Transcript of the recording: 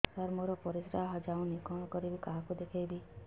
ସାର ମୋର ପରିସ୍ରା ଯାଉନି କଣ କରିବି କାହାକୁ ଦେଖେଇବି